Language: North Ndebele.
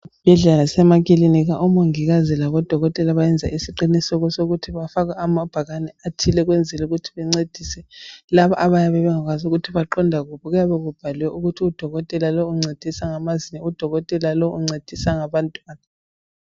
Ezibhedlela lasemakilinika omongikazi labodokotela benza isiqiniseko sokuthi bafake amaphakane athile ukwenzela ukuthi bencedise labo abayabe bengakwazi ukuthi baqonda kuphi kuyabe kubhaliwe ukuthi udokotela lowu uncedisa ngamazinyo udokotela lowu uncedisa ngabantwana .